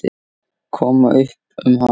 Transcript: Koma upp um hana?